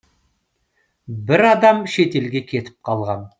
бір адам шетелге кетіп қалған